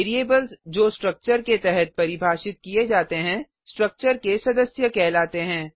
variables जो structure के तहत परिभाषित किये जाते हैं स्ट्रक्चर के सदस्य कहलाते हैं